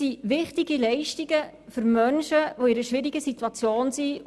Dies sind wichtige Leistungen für Menschen, die sich in einer schwierigen Situation befinden.